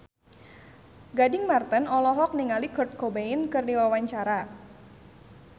Gading Marten olohok ningali Kurt Cobain keur diwawancara